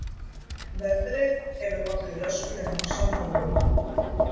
Veðrið hefur ollið röskunum á samgöngum